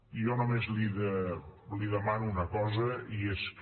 jo només li demano una cosa i és que